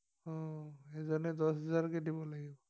অ এজনে দশ হজাৰকে দিব লাগিব